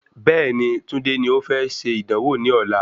Bẹ́ẹ̀ni, Tunde ni o fẹ́ ṣe ìdánwò ní ọ̀la